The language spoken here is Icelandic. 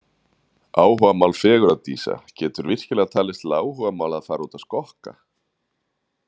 Áhugamál fegurðardísa Getur virkilega talist til áhugamála að fara út að skokka?